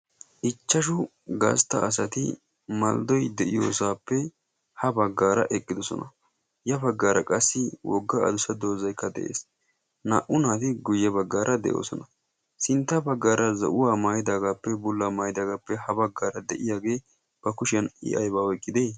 Ichchashu gastta asati malidoi de'iyoosaappe ha baggaara eqqidosona. Ya baggaara qassi wogga adusad doozaykka de'ees. Naa'u naati guyye baggaara de'oosona. Sintta baggaara za7uwaa maayidaagaappe bullaa maayidaagaappe ha baggaara de'iyaagee ba kushiyan i aybaa oyqqide?